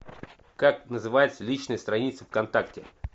как называется личная страница в контакте